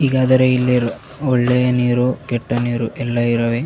ಈಗಾದರೆ ಈ ನೀರು ಒಳ್ಳೆಯ ನೀರು ಕೆಟ್ಟ ನೀರು ಎಲ್ಲ ಇರವೆ .